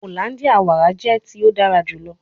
Hollandia wara jẹ ti o dara julọ